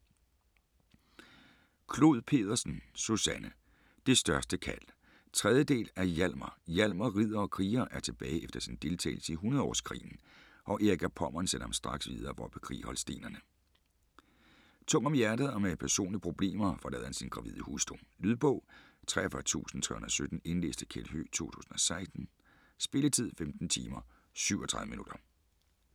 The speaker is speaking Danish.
Clod Pedersen, Susanne: Det største kald 3. del af Hialmar. Hialmar - ridder og kriger - er tilbage efter sin deltagelse i hundredeårskrigen, og Erik af Pommern sender ham straks videre for at bekrige holstenerne. Tung om hjertet og med personlige problemer forlader han sin gravide hustru. . Lydbog 43317 Indlæst af Kjeld Høegh, 2016. Spilletid: 15 timer, 37 minutter.